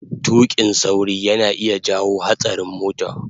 tuƙin sauri yana iya jawo hatsarin mota